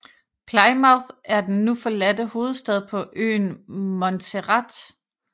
Plymouth er den nu forladte hovedstad på øen Montserrat